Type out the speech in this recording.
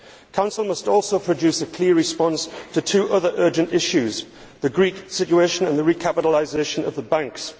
Council must also produce a clear response to two other urgent issues the Greek situation and the recapitalisation of the banks.